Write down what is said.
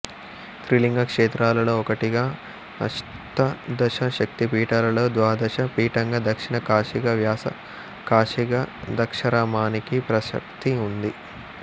త్రిలింగ క్షేత్రాలలో ఒకటిగా అష్తాదశ శక్తిపీఠాలలో ద్వాదశ పీఠంగా దక్షిణ కాశీగా వ్యాస కాశీగా ద్రాక్షారామానికి ప్రశస్తి ఉంది